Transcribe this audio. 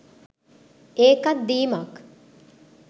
ඒකත් දීමක්.